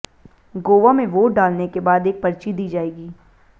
गोवा में वोट डालने के बाद एक पर्ची दी जाएगी